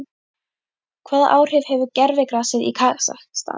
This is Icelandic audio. Hvaða áhrif hefur gervigrasið í Kasakstan?